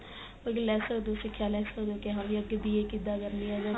ਸਿਖਿਆ ਲੈ ਸਕਦੇ ਓ ਕੀ ਹਾਂ ਵੀ ਅੱਗੇ B.A ਕਿੱਦਾ ਕਰਨੀ ਏ